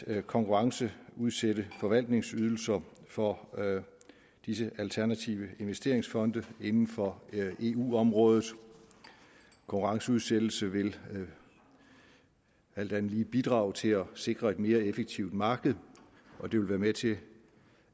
at konkurrenceudsætte forvaltningsydelser for disse alternative investeringsfonde inden for eu området konkurrenceudsættelse vil alt andet lige bidrage til at sikre et mere effektivt marked og det vil være med til